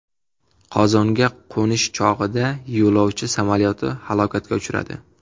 Qozonga qo‘nish chog‘ida yo‘lovchi samolyoti halokatga uchradi.